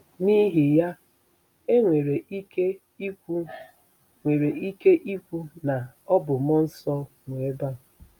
N'ihi ya, e nwere ike ikwu nwere ike ikwu na ọ bụ mmụọ nsọ nweba